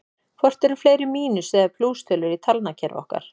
Hvort eru fleiri mínus- eða plústölur í talnakerfi okkar?